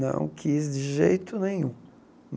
Não quis de jeito nenhum.